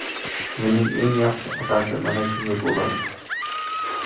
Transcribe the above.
Yilning eng yaxshi otasi mana shunday bo‘ladi.